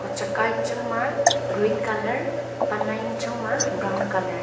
hochak a yang ba green colour tan a yang chang ba brown colour .